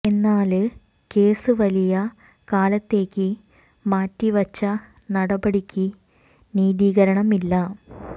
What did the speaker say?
എന്നാല് കേസ് വലിയ കാലത്തേക്ക് മാറ്റി വച്ച നടപടിക്ക് നീതീകരണം ഇല്ല